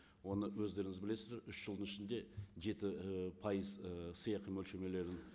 оны өздеріңіз білесіздер үш жылдың ішінде жеті і пайыз ы сыйақы мөлшерлемелерін